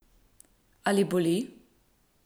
Ali boli?